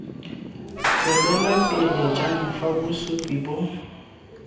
tswelelapele jang fa bosupi bo